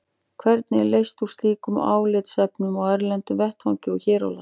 Hvernig er leyst úr slíkum álitaefnum á erlendum vettvangi og hér á landi?